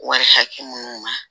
Wari hakɛ minnu ma